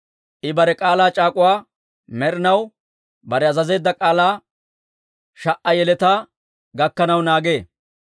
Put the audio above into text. I bare k'aalaa c'aak'uwaa med'inaw, Bare azazeedda k'aalaa sha"a yeletaa gakkanaw naagee.